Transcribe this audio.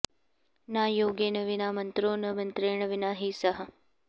न योगेन विना मन्त्रो न मन्त्रेण विना हि सः